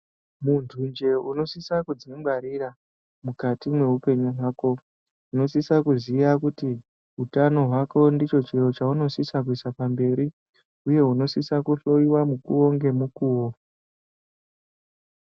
Muntunje unosisa kudzingwarira mukati mweupenyu hwako. Unosisa kuziya kuti, utano hwako ndicho chiro chaunosisa kuisa pamberi, uye unosise kuhloiwa mukuwo ngemukuwo.